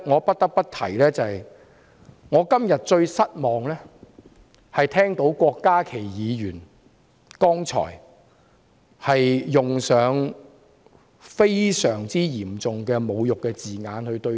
不得不提的是，我今天感到最失望的是聽到郭家麒議員剛才對我們的同事使用嚴重侮辱的言詞。